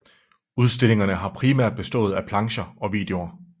Udstillingerne har primært bestået af plancher og videoer